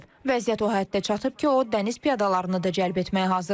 Vəziyyət o həddə çatıb ki, o dəniz piyadalarını da cəlb etməyə hazırdır.